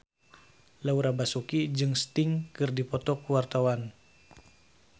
Laura Basuki jeung Sting keur dipoto ku wartawan